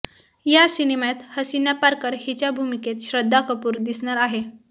या सिनेमात हसीना पारकर हिच्या भूमिकेत श्रद्धा कपूर दिसणार आहे